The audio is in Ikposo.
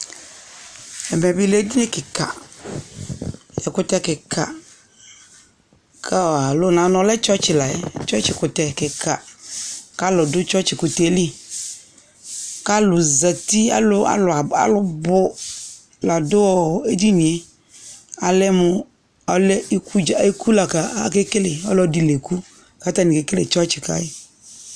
Ɛvɛbɩ lɛ edini kɩka , ɛkʋtɛ kɩka kɔ alo n'ɔ lɛ tsɔtsɩ layɛ , tsɔtsɩ kʋtɛ kɩka, k'alʋ dʋ tsɔtsɩkʋtɛɛ li K'alʋ zati : alʋ alʋaba alʋ bʋ ! ladʋ ɔɔ edinie Alɛ mʋ alɛ ikudza , iku la kaa akekele ; ɔlɔdɩ l'eku kakekele tsɔtsɩ ka yɩ